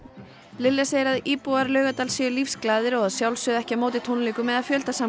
Lilja segir að íbúar Laugardals séu lífsglaðir og að sjálfsögðu ekki á móti tónleikum eða